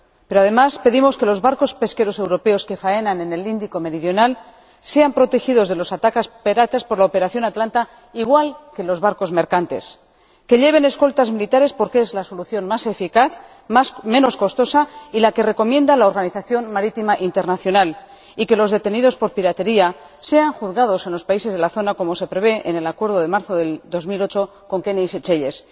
Pero, además, pedimos que los barcos pesqueros europeos que faenan en el Índico meridional sean protegidos de los ataques piratas por la operación Atalanta igual que los barcos mercantes, que lleven escoltas militares, porque es la solución más eficaz, menos costosa y la que recomienda la Organización Marítima Internacional, y que los detenidos por piratería sean juzgados en los países de la zona, como se prevé en el acuerdo de marzo de 2008 con Kenia y Seychelles.